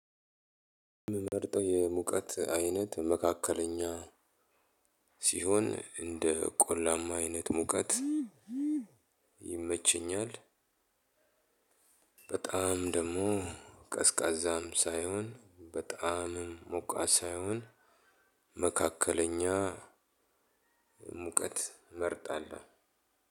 ምመርጠው የሙቀት አይነት መካከለኛ ሲሆን እንደ ቆላማ አይነት ሙቀት ይመቸኛል። በጣም ደግሞ ቀዝቃዛም ሳይሆን በጣምም ሞቃት ሳይሆን መካከለኛ ሙቀት እመርጣለሁ።